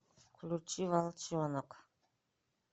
включи волчонок